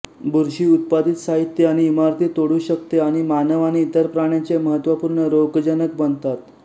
बुरशी उत्पादित साहित्य आणि इमारती तोडू शकतेआणि मानव आणि इतर प्राण्यांचे महत्त्वपूर्ण रोगजनक बनतात